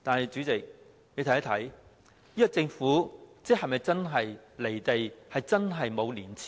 主席，你說政府是否真的"離地"和沒有廉耻？